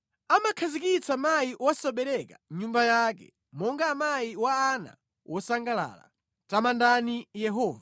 Amakhazikitsa mayi wosabereka mʼnyumba yake monga mayi wa ana wosangalala. Tamandani Yehova.